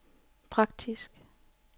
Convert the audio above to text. praktisk